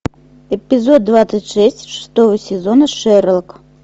эпизод двадцать шесть шестого сезона шерлок